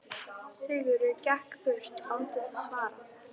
Sigurður gekk burt án þess að svara.